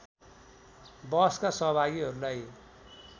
वहसका सहभागीहरूलाई